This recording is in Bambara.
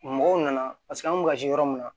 Mɔgɔw nana paseke an kun be kasi yɔrɔ min na